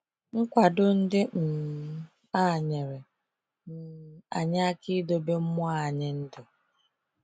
Nkwado ndị um a nyere um anyị aka idobe mmụọ anyị ndụ.